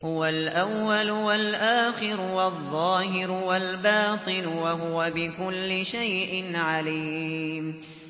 هُوَ الْأَوَّلُ وَالْآخِرُ وَالظَّاهِرُ وَالْبَاطِنُ ۖ وَهُوَ بِكُلِّ شَيْءٍ عَلِيمٌ